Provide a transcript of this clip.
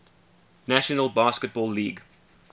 national basketball league